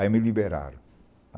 Aí me liberaram.